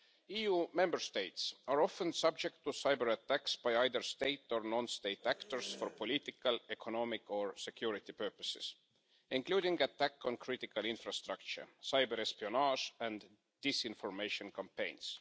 EU Member States are often subject to cyber-attacks by either state or non state actors for political, economic or security purposes, including attacks on critical infrastructure, cyber-espionage and disinformation campaigns.